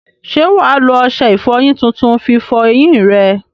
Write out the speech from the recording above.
Ṣé wà á lo ọṣẹ ìfọyín tuntun fi fọ eyín rẹ?